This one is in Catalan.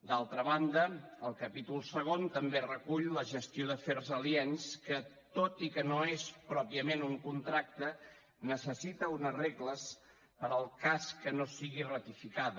d’altra banda el capítol segon també recull la gestió d’afers aliens que tot i que no és pròpiament un contracte necessita unes regles per al cas que no sigui ratificada